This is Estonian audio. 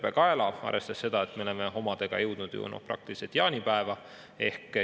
arvestada seda, et me oleme omadega jõudnud juba praktiliselt jaanipäeva.